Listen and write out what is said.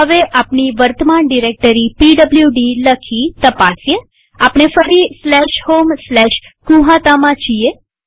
હવે આપણી વર્તમાન ડિરેક્ટરી પીડબ્લુડી લખી તપાસીએઆપણે ફરી homegnuhataમાં છીએ